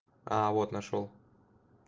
а вот нашёл